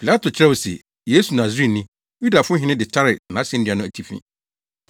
Pilato kyerɛw se, Yesu Nasareni, Yudafo Hene de taree nʼasennua no atifi.